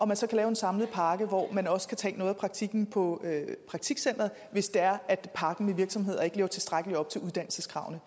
man så kan lave en samlet pakke hvor man også kan tage noget af praktikken på praktikcenteret hvis det er at pakken med virksomheder ikke lever tilstrækkeligt op til uddannelseskravene